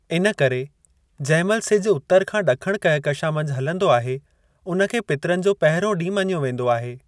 इनकरे, जंहिं महिल सिजु उतर खां ॾखणु कहकशां मंझि हलंदो आहे, उन्हे खे पितरनि जो पहिरियों ॾींहुं मञियो वेंदो आहे।